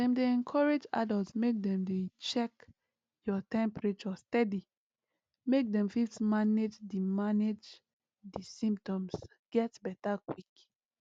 dem dey encourage adults make dem dey check your temperature steady make dem fit manage di manage di symptoms get beta quick